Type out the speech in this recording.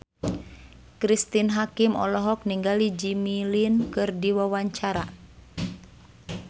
Cristine Hakim olohok ningali Jimmy Lin keur diwawancara